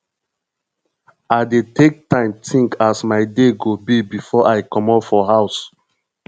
i dey take time tink as my day go be before i comot for house